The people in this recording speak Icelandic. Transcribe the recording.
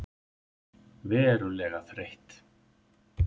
Verulega þreytt.